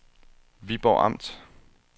Viborg Amt